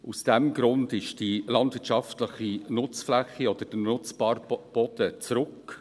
Aus diesem Grund ging die landwirtschaftliche Nutzfläche oder der nutzbare Boden zurück.